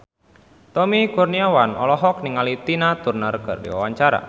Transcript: Tommy Kurniawan olohok ningali Tina Turner keur diwawancara